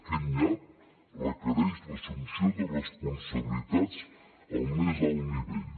aquest nyap requereix l’assumpció de responsabilitats al més alt nivell